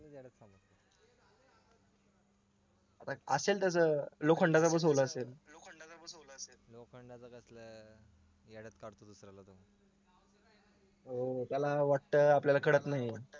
असेल तसे लोखंडाचा असेल